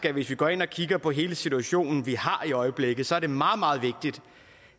at hvis vi går ind og kigger på hele situationen vi har i øjeblikket er det meget meget vigtigt